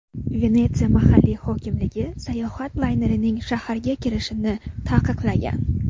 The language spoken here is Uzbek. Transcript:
Venetsiya mahalliy hokimligi sayohat laynerlarining shaharga kirishini taqiqlagan.